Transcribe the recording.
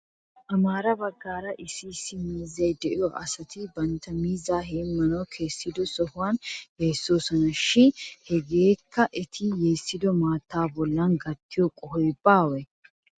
Amaara baggaara issi issi miizzay de'iyoo asay bantta miizzaa heemmanaw kessido sohuwan yeessoosona shin hegee eti yeessido maattaa bolla gattiyoo qohoy baawee?